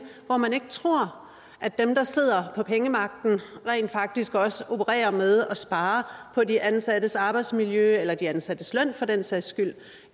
hvor man ikke tror at dem der sidder på pengemagten rent faktisk også opererer med at spare på de ansattes arbejdsmiljø eller de ansattes løn for den sags skyld